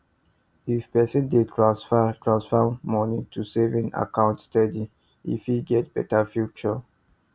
if person dey transfer transfer moni to saving account steady e fit get better future